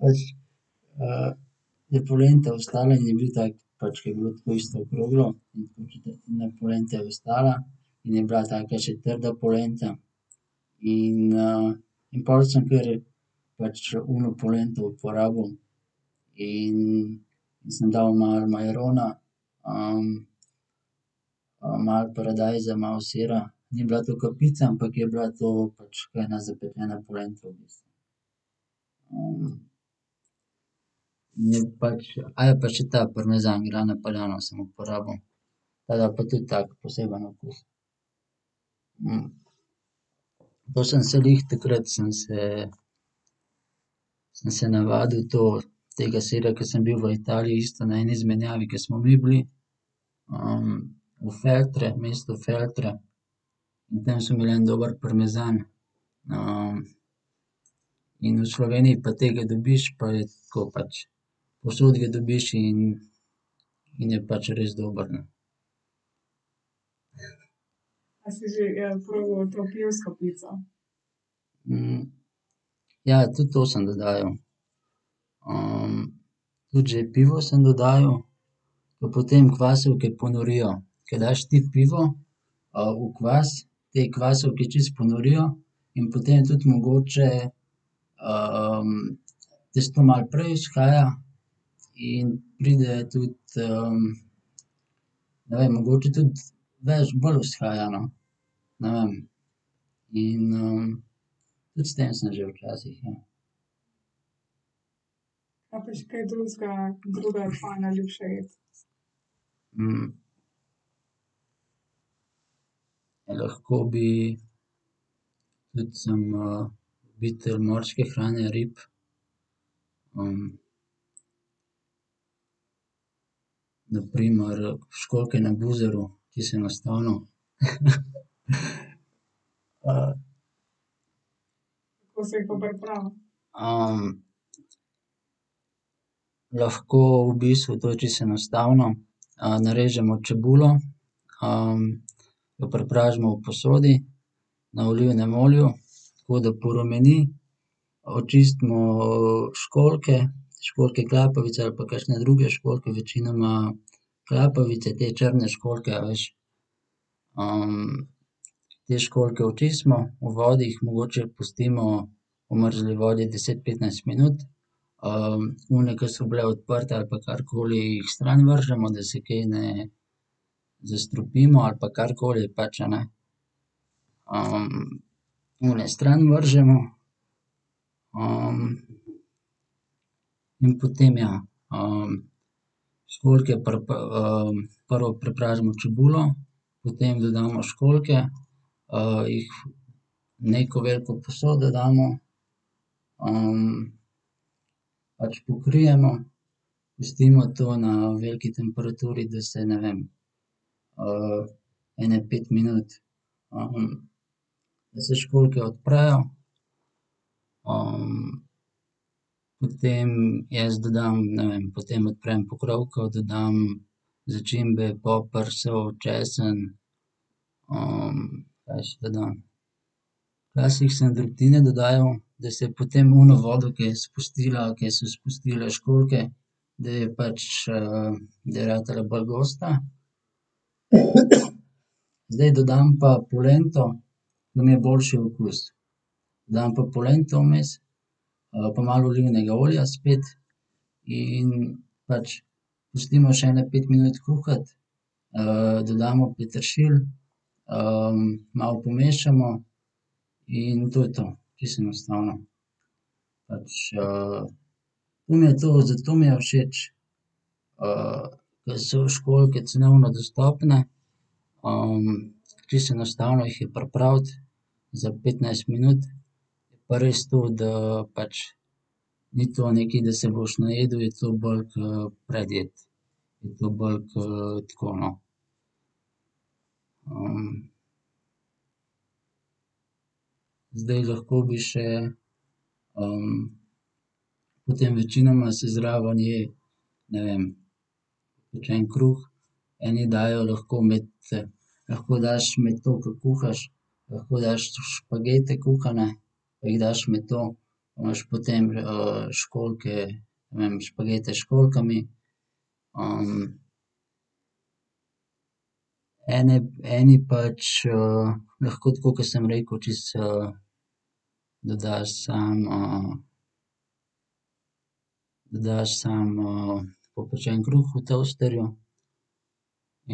pač, je polenta ostala in je bil tak pač, ke je bilo tako isto okroglo, in tako četrtina polente je ostala in je bila taka še trda polenta. In, in pol sem kar pač ono polento uporabil in sem dal malo majarona, malo paradajza, malo sira. Ni bila to ke pica, ampak je bila to pač kot ena zapečena polenta v bistvu. in je pač, pa še ta parmezan Grana Padano sem uporabil. Ta da pa tudi tako poseben okus. po sem se glih takrat sem se, sem se navadil to, tega sira, ke sem bil v Italiji isto na eni izmenjavi, ke smo mi bili, v Feltre, mestu Feltre. In tam so imeli en dober parmezan. in v Sloveniji pa tega dobiš pa je tako, pač povsod ga dobiš in in je pač res dober, no. ja, tudi to sem dodajal. tudi že pivo sem dodajal. Pa potem kvasovke ponorijo. Ko daš ti pivo, v kvas, te kvasovke čisto ponorijo in potem tudi mogoče, tisto malo prej vzhaja in pride tudi, ne vem, mogoče tudi več, bolj vzhaja, no. Ne vem. In, tudi s tem sem že včasih, ja. lahko bi tudi sem, ljubitelj morske hrane, rib. na primer školjke na buzaro, čisto enostavno. lahko, v bistvu to je čisto enostavno. narežimo čebulo, jo prepražimo v posodi na olivnem olju, tako da porumeni. Očistimo, školjke, školjke klapavice ali pa kakšne druge školjke, večinoma klapavice, te črne školjke, a veš. te školjke očistimo. V vodi jih mogoče pustimo, v mrzli vodi deset, petnajst minut. one, ki so bile odprte ali pa karkoli, jih stran vržemo, da se kaj ne zastrupimo ali pa karkoli pač, a ne. one strani vržemo. in potem, ja, školjke prvo prepražimo čebulo, potem dodamo školjke, jih v neko veliko posodo damo, pač pokrijemo, pustimo to na veliki temperaturi, da se, ne vem, ene pet minut, da se školjke odprejo. potem jaz dodam, ne vem, potem odprem pokrovko, dodam začimbe, poper, sol, česen, kaj še dodam? Včasih sem drobtine dodajal, da se je potem ono vodo, ke je spustila, ke so spustili školjke, da je pač, da je ratala bolj gosta. Zdaj dodam pa polento, ke mi je boljši okus. Dam pa polento vmes, pa malo olivnega olja spet. In pač pustimo še ene pet minut kuhati, dodamo peteršilj, malo pomešamo in to je to. Čisto enostavno. Pač, to mi je to, zato mi je všeč, ke so školjke cenovno dostopne, čisto enostavno jih je pripraviti, za petnajst minut. Pa res to, da pač ni to nekaj, da se boš najedel, je to bolj k predjed. Je to bolj ke tako, no. zdaj lahko bi še, potem večinoma se zraven je, ne vem, pečen kruh, eni dajo lahko med, lahko daš med to, ke kuhaš, lahko daš tudi špagete kuhane, jih daš med to pa imaš potem, školjke, ne vem, špagete s školjkami. eni pač lahko tako, ke sem rekel, čisto, dodaš samo, dodaš samo, popečen kruh v toasterju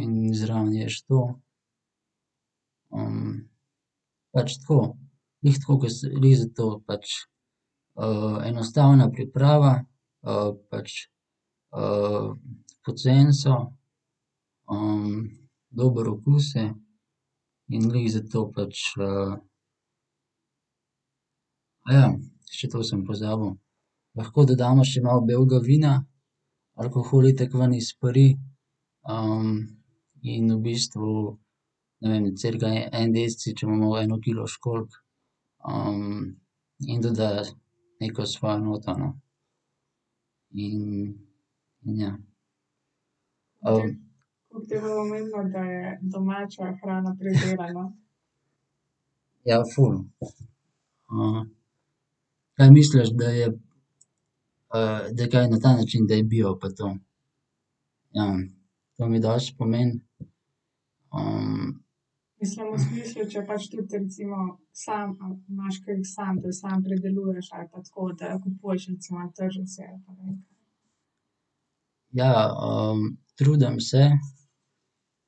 in zraven ješ to. pač tako, glih tako, ke se, glih zato pač, enostavna priprava, pač, poceni so, dober okus je. In glih zato pač še to sem pozabil. Lahko dodamo še malo belega vina, alkohol itak ven izperi, in v bistvu, ne vem, cirka en deci, če imamo eno kilo školjk. in doda neko svojo noto, no. In, in ja. Ja, ful. kaj misliš, da je, da kaj, na ta način, da je bil pa to? to mi dosti pomeni. Ja. trudim se,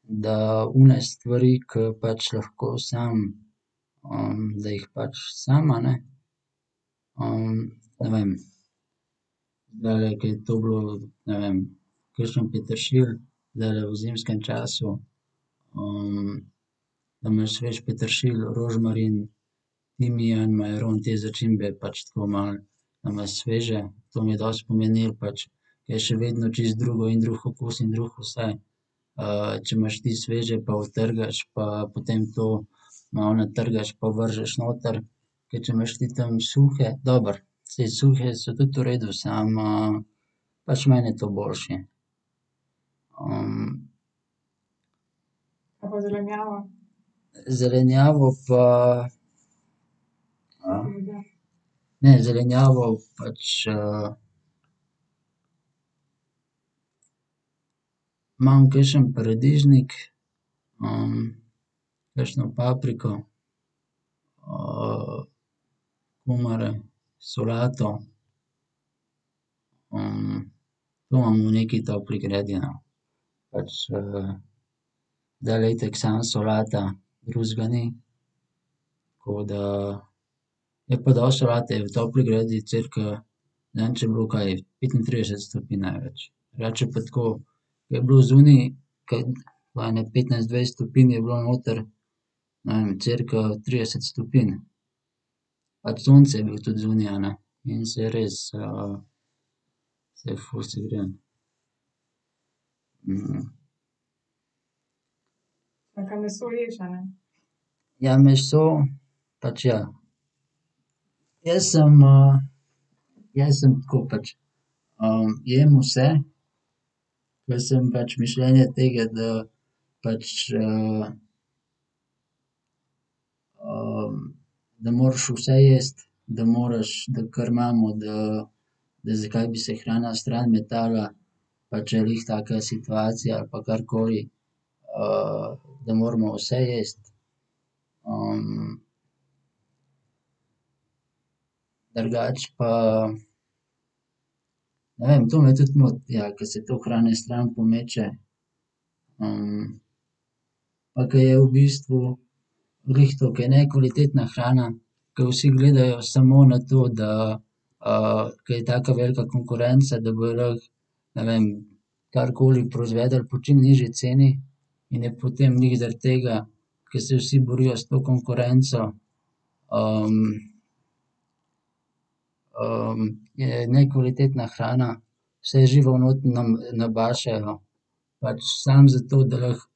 da one stvari, ker pač lahko samo, da jih pač samo, a ne. ne vem, zdajle, ke je to bilo, ne vem, kakšen peteršilj zdajle v zimskem času. da imaš svež peteršilj, rožmarin, timijan, majaron, te začimbe pač tako malo, da imaš sveže. To mi je dosti pomenilo pač. Je še vedno čisto drugo, in drug okus in drug vse, če imaš ti sveže, pa utrgaš, pa potem to malo natrgaš pa vržeš noter, ke če imaš ti tam suhe. Dobro, saj suhe so tudi v redu, samo, pač meni je to boljše. Zelenjavo pa, ne, zelenjavo pač, imam kakšen paradižnik, kakšno papriko, kumare, solato, to imam v neki topli gredi, no. Pač, zdajle je itak samo solata, drugega ni. Tako da ... Je pa dosti solate, v topli gredi cirka, ne vem, če je bilo, kaj petintrideset stopinj največ. Drugače je pa tako. Ker je bilo zunaj kot tako ene petnajst, dvajset stopinj, je bilo noter, ne vem, cirka trideset stopinj. Pač sonce je bilo tudi zunaj, a ne, in se je res, se je ful segrelo. Ja, meso pač ja. Jaz sem, jaz sem tako pač, jem vse, pa sem pač mišljenja tega, da pač, da moraš vse jesti. Da moraš, da kar imamo, da, da zakaj bi se hrana stran metala. Pa če je glih taka situacija ali pa karkoli. da moramo vse jesti. Drugače pa ne vem, to me tudi moti, ja, ke se toliko hrane stran pomeče. pa ke je v bistvu glih to, ke je nekvalitetna hrana, ke vsi gledajo smo na to, da, ker je taka velika konkurenca, da bojo lahko, ne vem, karkoli proizvedli po čim nižji ceni. In je potem glih zaradi tega, ke se vsi borijo s to konkurenco, je nekvalitetna hrana, vse živo not nabašejo pač samo zato, da lahko,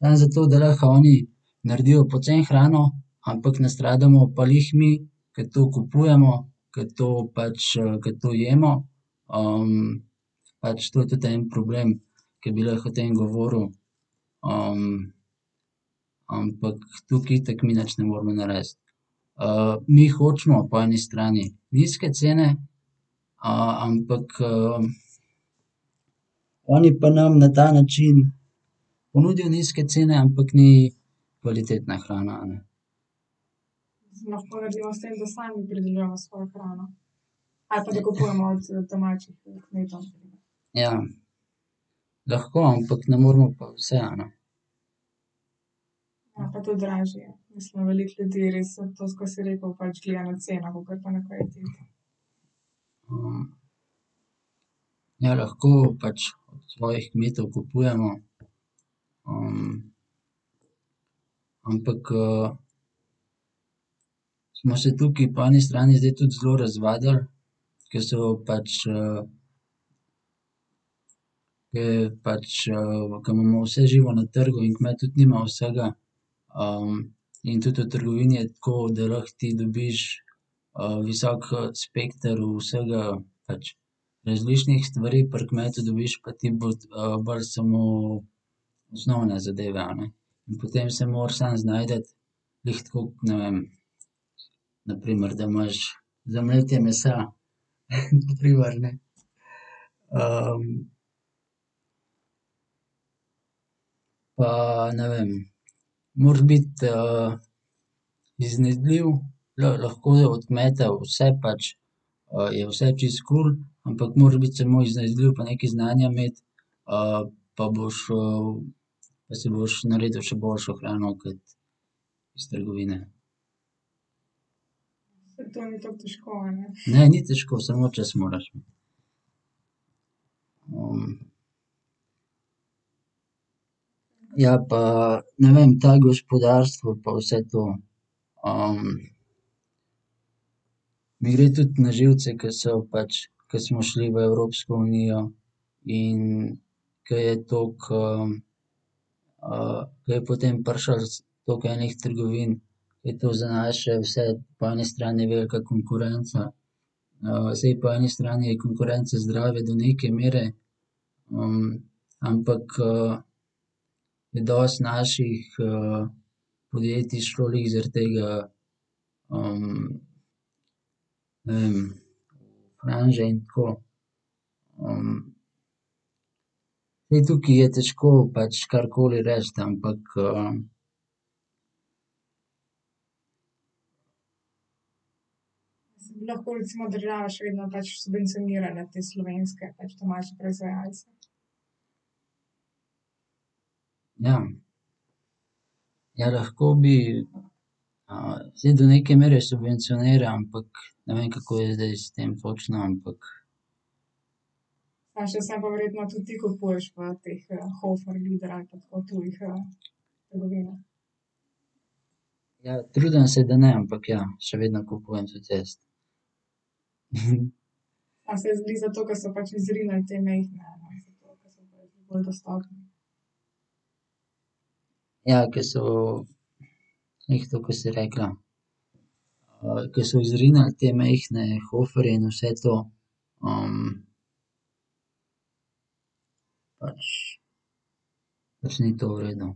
samo zato, da lahko oni naredijo poceni hrano, ampak nastradamo pa glih mi, ke to kupujemo, ke to pač, ker to jemo. pač to je tudi en problem, ke bi lahko o tem govoril, ampak tukaj itak mi nič ne moremo narediti. mi hočemo po eni strani nizke cene, ampak, oni pa nam na ta način ponudijo nizke cene, ampak ni kvalitetna hrana, a ne. Ja. Lahko, ampak ne moremo pa vse, a ne. Ja, lahko pač od svojih kmetov kupujemo, ampak, smo se tukaj po eni strani zdaj tudi zelo razvadili, ke so pač, ke je pač, ke imamo vse živo na trgu in kmet tudi nima vsega. in tudi v trgovini je tako, da lahko ti dobiš, visok, spekter vsega, pač različnih stvari, pri kmetu dobiš pa ti bolj samo osnovne zadeve, a ne. In potem se moraš sam znajti, glih tako, ne vem, na primer, da imaš za mletje mesa, na primer, ne. pa ne vem, moraš biti, iznajdljiv, lahko je od kmeta vse, pač, je vse čisto kul, ampak moraš biti samo iznajdljiv pa nekaj znanja imeti, pa boš, pa si boš naredil še boljšo hrano kot iz trgovine. Ne, ni težko, samo čas moraš imeti. Ja, pa ne vem, ta gospodarstvo pa vse to. mi gre tudi na živce, ke so pač, ke smo šli v Evropsko unijo in ke je toliko, ke je potem prišlo toliko enih trgovin, je to za nas še vse po eni strani velika konkurenca. saj po eni strani je konkurenca zdrava do neke mere. ampak, je dosti naših, podjetij šlo glih zaradi tega, ne vem, v franže in tako. zdaj, tukaj je težko pač karkoli reči, ampak, ... Ja. Ja, lahko bi. saj do neke mere subvencionirajo, ampak ne vem, kako je zdaj s tem točno, ampak ... Ja, trudim se, da ne, ampak ja, še vedno kupujem tudi jaz. Ja, ke so, glih to, ke si rekla, ko so izrinili te majhne Hoferje in vse to, pač pač ni to v redu.